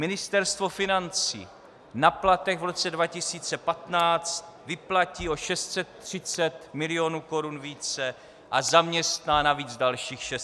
Ministerstvo financí na platech v roce 2015 vyplatí o 630 milionů korun více a zaměstná navíc dalších 600 lidí.